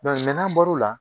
n'an bɔro la.